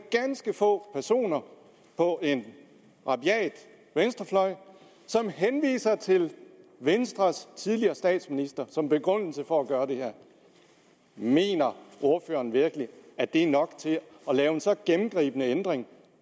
ganske få personer på en rabiat venstrefløj som henviser til venstres tidligere statsminister som begrundelse for at gøre det her mener ordføreren virkelig at det er nok til at lave en så gennemgribende ændring